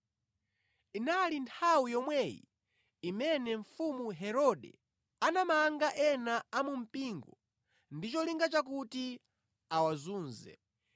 Inali nthawi yomweyi imene mfumu Herode anamanga ena a mu mpingo ndi cholinga chakuti awazunze.